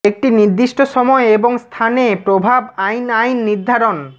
একটি নির্দিষ্ট সময় এবং স্থান এ প্রভাব আইন আইন নির্ধারণ